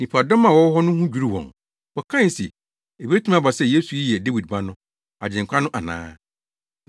Nnipadɔm a wɔwɔ hɔ no ho dwiriw wɔn. Wɔkae se, “Ebetumi aba sɛ Yesu yi yɛ Dawid Ba no, Agyenkwa no ana?”